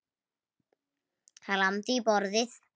Hann lamdi í borðið.